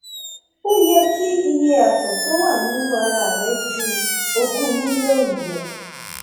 ó yẹ kí iye ààtọ tó wà nínú ara rẹ ju ogún mílíọnù lọ